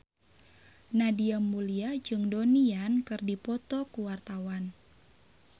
Nadia Mulya jeung Donnie Yan keur dipoto ku wartawan